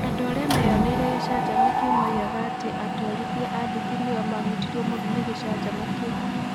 Andũ arĩa meeyoneire gĩcanjama kĩu moigaga atĩ atwarithia a nduthi nĩo maahutirio mũno nĩ gĩcanjama kĩu.